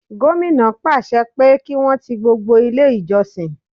Gómìnà pàṣẹ pé kí Wọ́n ti gbogbo ilé ìjọsìn.